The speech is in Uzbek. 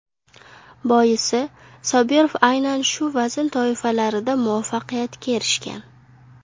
Boisi Sobirov aynan shu vazn toifalarida muvaffaqiyatga erishgan.